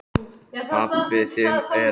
Hann kallaði þetta afgang af heimþrá.